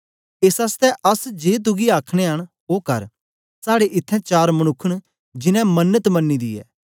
एस आसतै अस जे तुगी आखनयां न ओ कर साड़े इत्थैं चार मनुक्ख न जिनैं मन्नत मनी दी ऐ